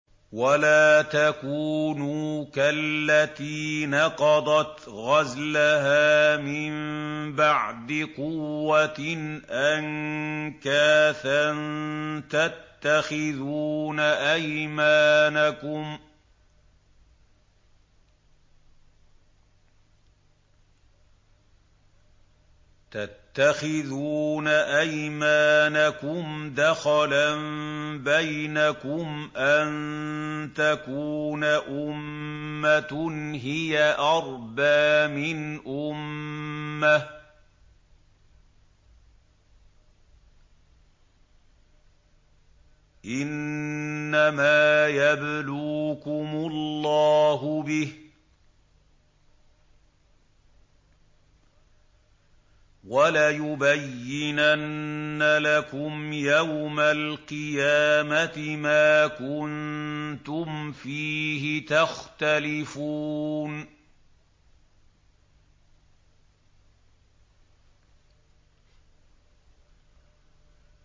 وَلَا تَكُونُوا كَالَّتِي نَقَضَتْ غَزْلَهَا مِن بَعْدِ قُوَّةٍ أَنكَاثًا تَتَّخِذُونَ أَيْمَانَكُمْ دَخَلًا بَيْنَكُمْ أَن تَكُونَ أُمَّةٌ هِيَ أَرْبَىٰ مِنْ أُمَّةٍ ۚ إِنَّمَا يَبْلُوكُمُ اللَّهُ بِهِ ۚ وَلَيُبَيِّنَنَّ لَكُمْ يَوْمَ الْقِيَامَةِ مَا كُنتُمْ فِيهِ تَخْتَلِفُونَ